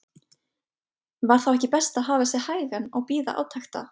Var þá ekki best að hafa sig hægan og bíða átekta?